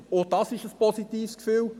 Auch dies ist ein positives Gefühl.